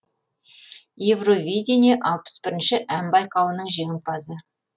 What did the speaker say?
евровидение алпыс бірінші ән байқауының жеңімпазы